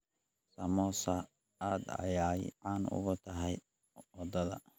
Samosa aad ayay caan ugu tahay wadada.